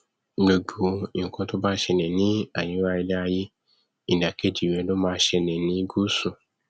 gbogbo nkan to bá nṣẹlẹ ní àríwá iléaiyé ìdàkejì rẹ ló ma nṣẹlẹ ní gusu